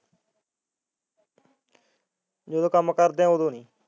ਜਦੋਂ ਕੰਮ ਕਰਦੇ ਐ ਉਦੋਂ ਨੀ